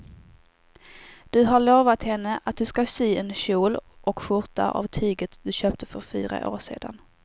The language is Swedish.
Du har lovat henne att du ska sy en kjol och skjorta av tyget du köpte för fyra år sedan.